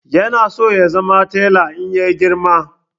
Ya na so ya zama tela in ya girma